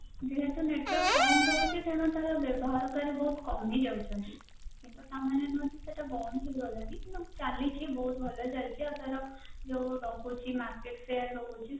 network କଣ ରହୁଛି ସେଇଟା ବି କିନ୍ତୁ ଚାଲିଛି ବହୁତ ଭଲ ଚାଳିଛି market share ରହୁଛି